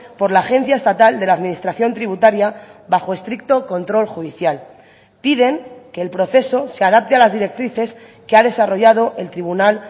por la agencia estatal de la administración tributaria bajo estricto control judicial piden que el proceso se adapte a las directrices que ha desarrollado el tribunal